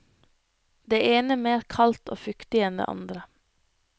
Det ene mer kaldt og fuktig enn det andre.